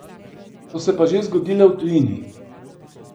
So se pa že zgodile v tujini.